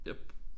Jep